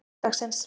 sunnudagsins